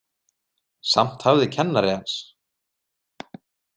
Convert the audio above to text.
Samt hafði kennari hans.